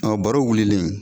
baro wulilen.